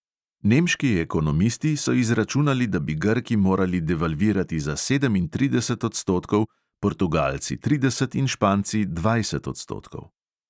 Nemški ekonomisti so izračunali, da bi grki morali devalvirati za sedemintrideset odstotkov, portugalci trideset in španci dvajset odstotkov.